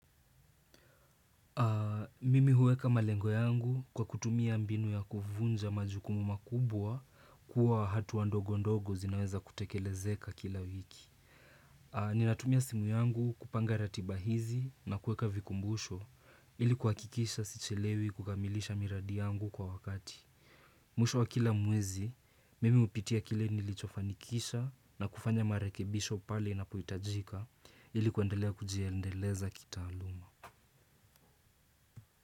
Mimi hueka malengo yangu kwa kutumia mbinu ya kuvunja majukumu makubwa kuwa hatua ndogo ndogo zinaweza kutekelezeka kila wiki. Ninatumia simu yangu kupanga ratiba hizi na kuweka vikumbusho ili kuhakikisha si chelewi kukamilisha miradi yangu kwa wakati. Mwisho wa kila mwezi, mimi hupitia kile nilicho fanikisha na kufanya marekebisho pale inapo hitajika ili kendelea kujiendeleza kitaaluma.